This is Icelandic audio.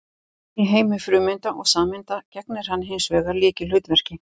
Í heimi frumeinda og sameinda gegnir hann hins vegar lykilhlutverki.